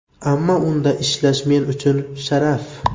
Ammo unda ishlash men uchun sharaf.